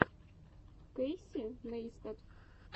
кэйси нейстат